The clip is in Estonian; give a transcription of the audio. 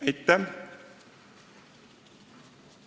Aitäh!